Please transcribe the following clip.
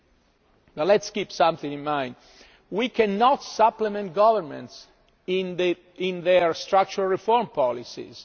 But let us keep something in mind we cannot supplement governments in their structural reform policies.